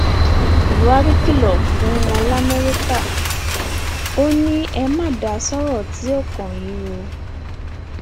buhari kìlọ fún wọn lamẹríkà ò ní e ma da sọrọ tí ó kàn yín o